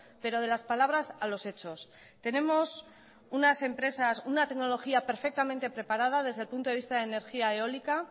pero de las palabras a los hechos tenemos unas empresas una tecnología perfectamente preparada desde el punto de vista de energía eólica